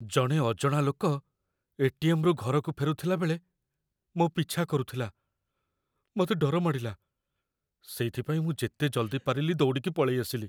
ଜଣେ ଅଜଣା ଲୋକ ଏ.ଟି.ଏମ୍. ରୁ ଘରକୁ ଫେରୁଥିଲା ବେଳେ ମୋ' ପିଛା କରୁଥିଲା । ମତେ ଡର ମାଡ଼ିଲା, ସେଇଥିପାଇଁ ମୁଁ ଯେତେ ଜଲ୍ଦି ପାରିଲି ଦୌଡ଼ିକି ପଳେଇଆସିଲି ।